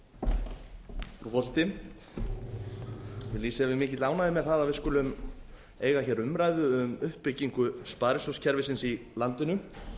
mikilli ánægju með það að við skulum eiga hér umræðu um uppbyggingu sparisjóðakerfisins í landinu